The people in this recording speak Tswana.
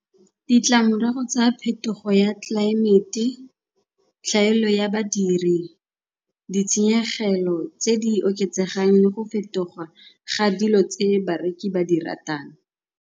Ditlamorago tsa phetogo ya tlelaemete, tlhaelo ya badiri, ditshenyegelo tse di oketsegang le go fetoga ga dilo tse bareki ba di ratang.